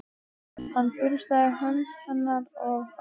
Hann burstaði hönd hennar af sér.